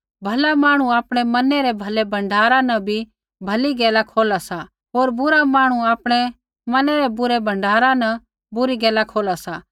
भला मांहणु आपणै मनै रै भलै भण्डारा न भली गैला खोला सा होर बुरा मांहणु आपणै मनै रै बुरै भण्डारा न बुरी गैला खोला सा